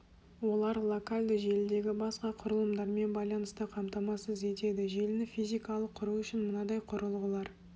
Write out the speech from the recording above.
олар локальды желідегі басқа құрылымдармен байланысты қамтамасыз етеді желіні физикалық құру үшін мынадай құрылғылар